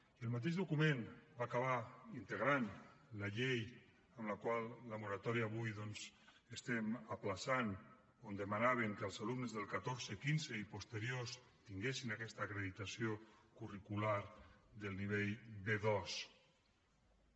i el mateix document va acabar integrant la llei la qual amb la moratòria d’avui doncs estem ajornant on demanaven que els alumnes del catorze quinze i posteriors tinguessin aquesta acreditació curricular del nivell b2